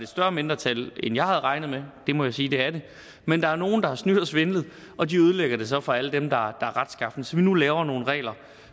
større mindretal end jeg havde regnet med det må jeg sige det er men der nogle der har snydt og svindlet og de ødelægger det så for alle dem der er retsskafne så vi nu laver nogle regler